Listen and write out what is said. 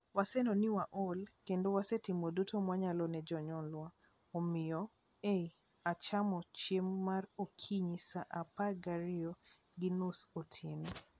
Waseneno ni waol, kendo wasetimo duto mwanyalo ne jonyuolwa, omiyo, ee, achamo chiemo mar okinyi sa apar gariyo gi nus otieno.